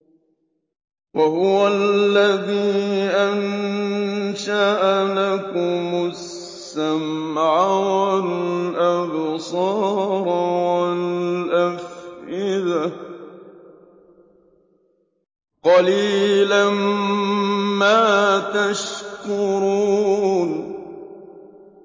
وَهُوَ الَّذِي أَنشَأَ لَكُمُ السَّمْعَ وَالْأَبْصَارَ وَالْأَفْئِدَةَ ۚ قَلِيلًا مَّا تَشْكُرُونَ